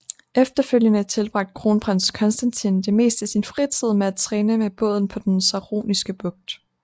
Efterfølgende tilbragte kronprins Konstantin det meste af sin fritid med at træne med båden på den Saroniske Bugt